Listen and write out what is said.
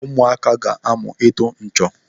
Ụmụaka ga-amụ ịtụ nchọ.